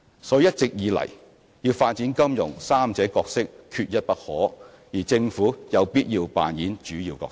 所以一直以來，要發展金融三者角色缺一不可，而政府有必要扮演主要角色。